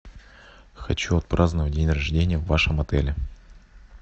хочу отпраздновать день рождения в вашем отеле